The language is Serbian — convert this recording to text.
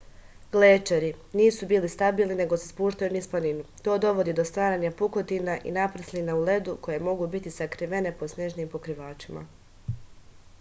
glečeri nisu stabilni nego se spuštaju niz planinu to dovodi do stvaranja pukotina i naprslina u ledu koje mogu biti sakrivene pod snežnim pokrivačem